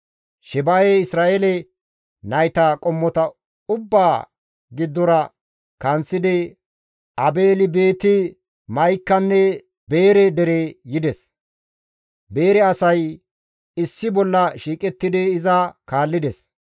Sheba7ey Isra7eele nayta qommota ubbaa giddora kanththidi Aabeeli-Beeti-Ma7ikanne Beere dere yides. Beere asay issi bolla shiiqettidi iza kaallides.